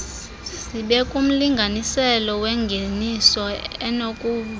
zibekumlinganiselo wengeniso enokuvutha